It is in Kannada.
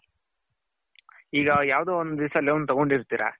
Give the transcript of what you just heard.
ಈಗ ಯಾವ್ದೊ ಒಂದು ದಿವಿಸ loan ತಗೊಂಡ್ ಇರ್ತೀರಾ